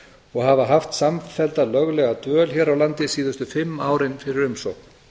og hafa haft samfellda löglega dvöl hér á landi síðustu fimm árin fyrir umsókn